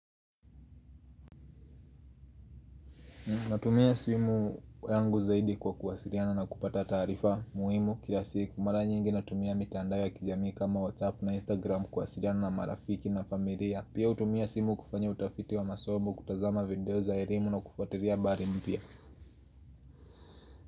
Natumia simu yangu zaidi kwa kuwasiliana na kupata taarifa muhimu kila siku mara nyingi natumia mitandao ya kijamii kama whatsapp na instagram kuwasiliana na marafiki na familia. Pia hutumia simu kufanya utafiti wa masomo kutazama video za elimu na kufuatilia habari mpya.